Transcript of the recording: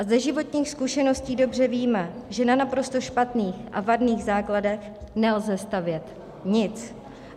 A ze životních zkušeností dobře víme, že na naprosto špatných a vadných základech nelze stavět nic.